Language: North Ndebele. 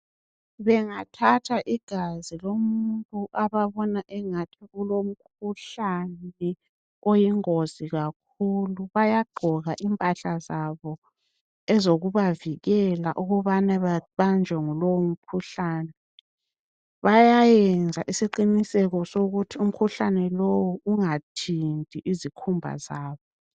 Bengathatha igazi lomuntu ababona engani ulomkhuhlane oyingozi kakhulu bayagqoka impahla zabo ezokubavikela ukubana babanjwe ngulowo mkhuhlane bayayenza isiqiniseko sokuthi umkhuhlane lowo ungathinti izikhumba zaba